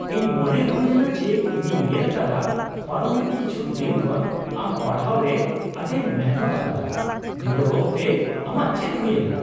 ᱤᱧ ᱢᱚᱱᱮ ᱦᱩᱭᱮᱱᱟ ᱡᱮ, ᱤᱧᱤᱧ ᱧᱮᱞ ᱟᱠᱟᱫᱟ ᱯᱟᱨᱚᱢᱮᱱ ᱠᱤᱪᱷᱩ ᱫᱤᱱ ᱠᱷᱚᱱ ᱟᱢ ᱯᱟᱲᱦᱟᱣᱨᱮ ᱟᱹᱰᱤᱢ ᱢᱤᱱᱦᱟᱹᱛ ᱟᱠᱟᱫᱟ ᱾ ᱵᱤᱰᱟᱹᱣ ᱚᱠᱛᱮ ᱟᱢᱟᱜ ᱪᱮᱫ ᱦᱩᱭᱮᱱᱟ ?